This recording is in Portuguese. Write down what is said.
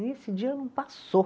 E esse dia não passou.